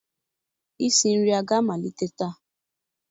Isi nri a ga-amalite taa?